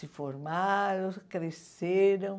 Se formaram, cresceram.